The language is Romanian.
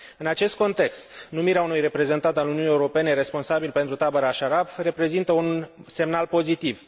În acest context, numirea unui reprezentant al Uniunii Europene responsabil pentru tabăra Ashraf reprezintă un semnal pozitiv.